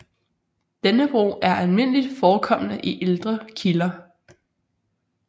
Denne brug er almindeligt forekommende i ældre kilder